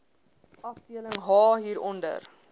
afdeling h hieronder